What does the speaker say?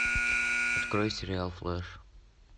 открой сериал флэш